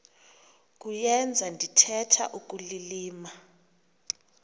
kuyenza ndithetha ukulilima